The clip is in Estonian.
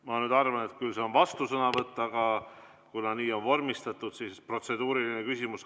Ma nüüd arvan, et see on vastusõnavõtt, aga kuna nii on vormistatud, siis protseduuriline küsimus.